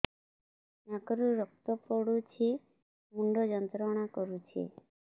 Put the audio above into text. ନାକ ରୁ ରକ୍ତ ପଡ଼ୁଛି ମୁଣ୍ଡ ଯନ୍ତ୍ରଣା କରୁଛି